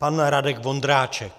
Pan Radek Vondráček.